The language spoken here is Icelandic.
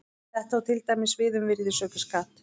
Þetta á til dæmis við um virðisaukaskatt.